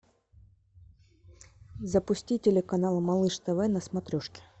запусти телеканал малыш тв на смотрешке